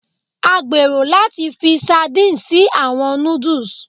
A gbero lati fi sardine si awọn nudus